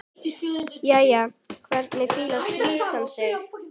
Jæja, hvernig fílar skvísan sig?